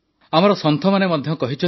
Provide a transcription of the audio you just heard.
ଆମର ସନ୍ଥମାନେ ମଧ୍ୟ କହିଛନ୍ତି